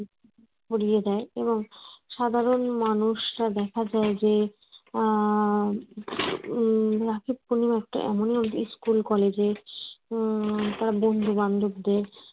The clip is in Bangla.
পরিয়ে দেয় এবং সাধারণ মানুষরা দেখা যায় যে উম রাখি পূর্ণিমাতে school college উম তার বন্ধু বান্ধব দের